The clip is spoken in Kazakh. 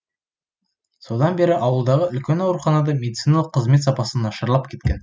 содан бері ауылдағы үлкен ауруханада медициналық қызмет сапасы нашарлап кеткен